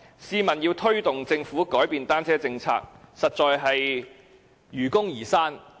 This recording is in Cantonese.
試問要推動政府改變單車政策，實在是否愚公移山？